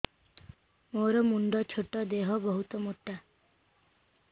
ମୋର ମୁଣ୍ଡ ଛୋଟ ଦେହ ବହୁତ ମୋଟା